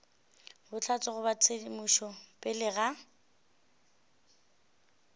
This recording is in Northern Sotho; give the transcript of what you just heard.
bohlatse goba tshedimošo pele ga